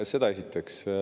Seda esiteks.